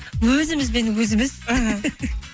өзімізбен өзіміз іхі